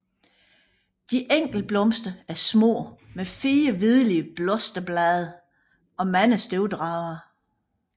De enkelte blomster er små med 4 hvidlige blosterblade og mange støvdragere